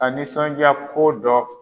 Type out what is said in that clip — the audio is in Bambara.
A nisɔnja ko dɔ